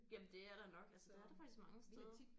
Jamen det er der nok altså det er der faktisk mange steder